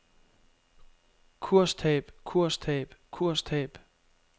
kurstab kurstab kurstab